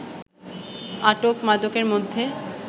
আটক মাদকের মধ্যে